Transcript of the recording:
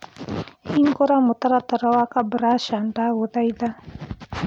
hĩngura mũtaratara wa kabrasha ndagũthaĩtha